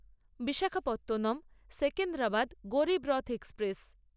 Visakhapatnam Secunderabad Garib Rath express